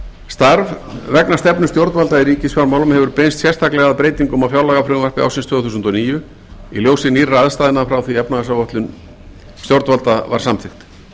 starf vegna stefnu stjórnvalda í ríkisfjármálum hefur beinst sérstaklega að breytingum á fjárlagafrumvarpi ársins tvö þúsund og níu í ljósi nýrra aðstæðna frá því að efnahagsáætlun stjórnvalda var samþykkt